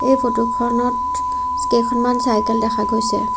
এই ফটোখনত কেইখনমান চাইকেল দেখা গৈছে।